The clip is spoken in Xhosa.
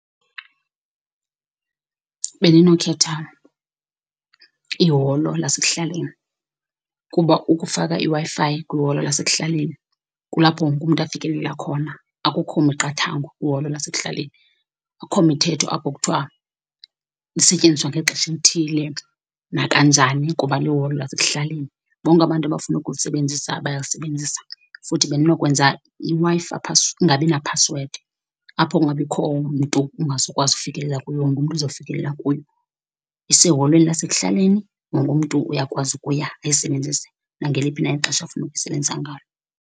Bendinokhetha iholo lasekuhlaleni kuba ukufaka iWi-Fi kwiholo lasekuhlaleni kulapho wonke umntu afikelela khona, akukho miqathango kwiholo lasekuhlaleni. Akho mithetho apho kuthiwa lisetyenziswa ngexesha elithile nakanjani kuba liholo lasekuhlaleni. Bonke abantu abafuna ukulisebenzisa bayalisebenzisa, futhi bendinokwenza iWi-Fi ingabi naphasiwedi apho kungabikho mntu ungazukwazi ukufikelela kuyo, wonke mntu uzofikelela kuyo. Iseholweni lasekuhlaleni, wonke mntu uyakwazi ukuya ayisebenzise nangeliphi ixesha afuna ukuyisebenzisa ngayo.